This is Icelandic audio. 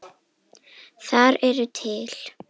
Þar eru til